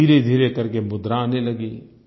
धीरेधीरे करके मुद्रा आने लगी